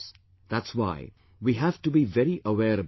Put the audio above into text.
That's why we have to be very aware about that